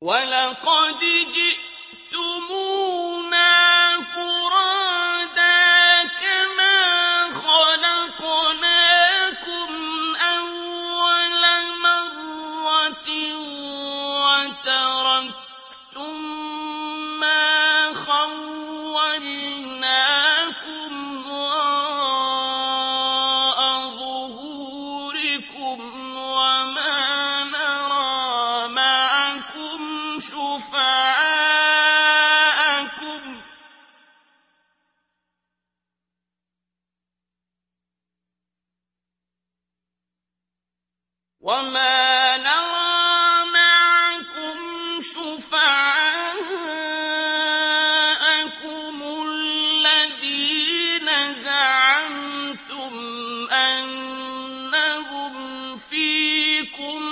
وَلَقَدْ جِئْتُمُونَا فُرَادَىٰ كَمَا خَلَقْنَاكُمْ أَوَّلَ مَرَّةٍ وَتَرَكْتُم مَّا خَوَّلْنَاكُمْ وَرَاءَ ظُهُورِكُمْ ۖ وَمَا نَرَىٰ مَعَكُمْ شُفَعَاءَكُمُ الَّذِينَ زَعَمْتُمْ أَنَّهُمْ فِيكُمْ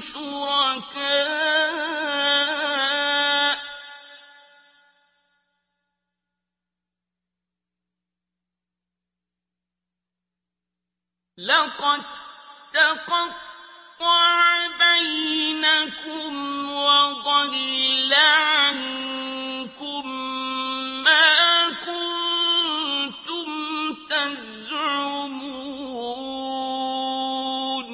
شُرَكَاءُ ۚ لَقَد تَّقَطَّعَ بَيْنَكُمْ وَضَلَّ عَنكُم مَّا كُنتُمْ تَزْعُمُونَ